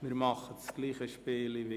Wir spielen unsere Routine durch.